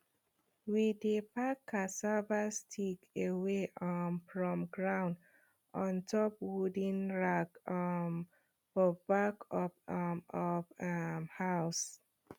we dey pack cassava stick away um from ground on top wooden rack um for back of um of um house